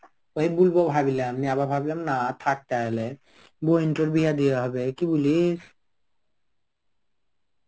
ওই বলব ভাবলাম নিয়ে আবার ভাবলাম না থাক তাহলে. বোন তার বিয়াহ দেওয়া হবে. কি বলিস?